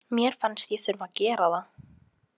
Mér fannst ég þurfa að gera það.